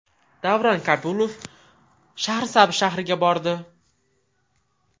Davron Kabulov Shahrisabz shahriga bordi.